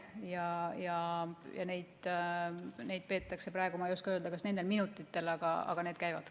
Ma ei oska öelda, kas neid peetakse just nendel minutitel, aga need käivad.